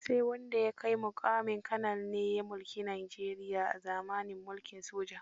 Sai wanda ya kai muƙamin Kanal ne ya mulki Najeria a zamanin mulkin soja.